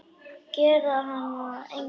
Gera hana að engu.